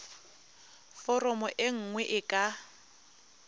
foromo e nngwe e ka